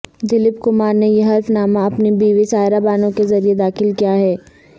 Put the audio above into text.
دلیپ کمار نے یہ حلف نامہ اپنی بیوی سائرہ بانو کے ذریعہ داخل کیا ہے